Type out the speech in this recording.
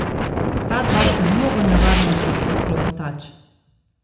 Ta dva sta mnogo nevarnejša kot Klopotač.